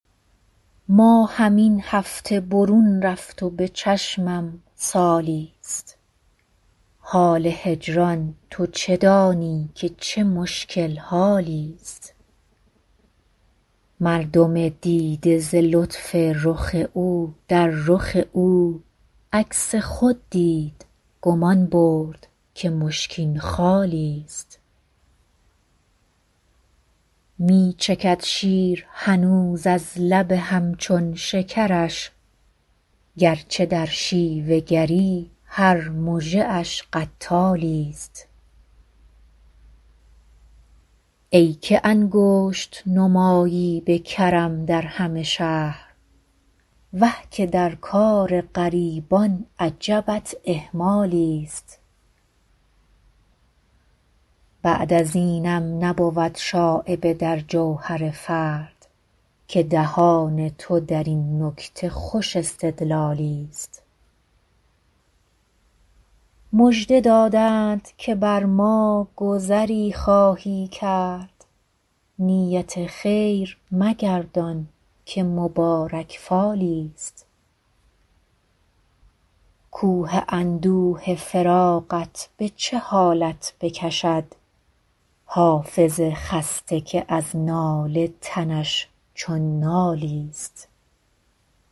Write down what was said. ماهم این هفته برون رفت و به چشمم سالی ست حال هجران تو چه دانی که چه مشکل حالی ست مردم دیده ز لطف رخ او در رخ او عکس خود دید گمان برد که مشکین خالی ست می چکد شیر هنوز از لب هم چون شکرش گر چه در شیوه گری هر مژه اش قتالی ست ای که انگشت نمایی به کرم در همه شهر وه که در کار غریبان عجبت اهمالی ست بعد از اینم نبود شایبه در جوهر فرد که دهان تو در این نکته خوش استدلالی ست مژده دادند که بر ما گذری خواهی کرد نیت خیر مگردان که مبارک فالی ست کوه اندوه فراقت به چه حالت بکشد حافظ خسته که از ناله تنش چون نالی ست